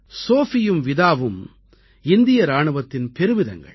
சோஃபியும் விதாவும் இந்திய இராணுவத்தின் பெருமிதங்கள்